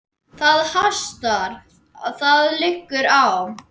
Það hastar: það liggur á.